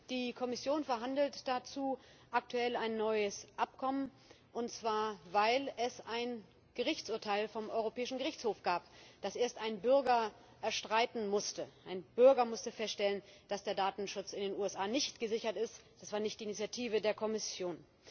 Die Kommission verhandelt dazu aktuell ein neues Abkommen, und zwar weil es ein Gerichtsurteil vom Europäischen Gerichtshof gab, das erst ein Bürger erstreiten musste Ein Bürger musste feststellen, dass der Datenschutz in den USA nicht gesichert ist, das war nicht die Initiative der Kommission!